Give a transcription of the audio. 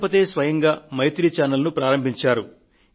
రాష్ట్రపతి స్వయంగా మైత్రి ఛానెల్ ను ప్రారంభించారు